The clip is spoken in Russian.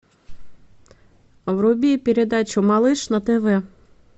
вруби передачу малыш на тв